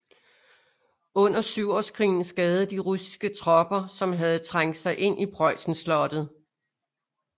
Under syvårskrigen skadede de russiske tropper som havde trængt sig ind i Preussen slottet